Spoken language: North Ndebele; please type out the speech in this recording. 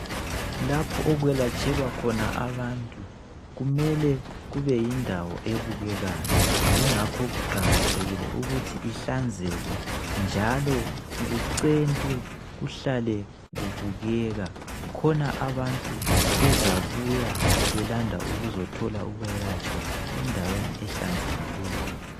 Lapho okwelatshelwa khona abantu kumele kube yindawo ebukekayo yingakho kuqakathekile ukuthi ihlanzeke njalo kucentwe kuhlale kubukeka khona abantu bezabuyabelanda ukuzothola ukwelatshwa endaweni ehlanzekileyo.